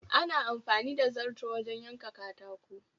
Ana amfani da zarto wajen yanka katako